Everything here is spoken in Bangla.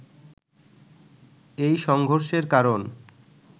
এই সংঘর্ষের কারণ